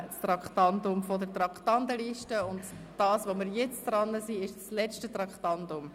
Entfernen von der Traktandenliste des Geschäfts 2017.POM.593 [Traktandum 97])